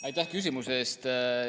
Aitäh küsimuse eest!